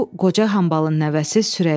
Bu qoca hambalın nəvəsi Sürəyyadır.